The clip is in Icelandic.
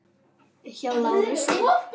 Hjá Lárusi.